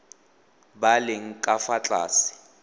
ba leng ka fa tlase